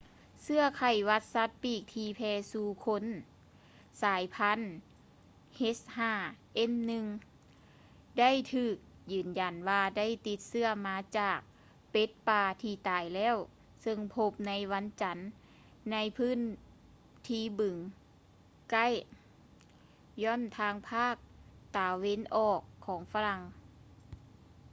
ເຊື້ອໄຂ້ຫວັດສັດປີກທີ່ແຜ່ສູ່ຄົນສາຍພັນ h5n1 ໄດ້ຖືກຢືນຢັນວ່າໄດ້ຕິດເຊື້ອມາຈາກເປັດປ່າທີ່ຕາຍແລ້ວ ເຊິ່ງພົບໃນວັນຈັນໃນພື້ນທີ່ບຶງ ໃກ້ lyon ທາງພາກຕາເວັນອອກຂອງປະເທດຝຣັ່ງ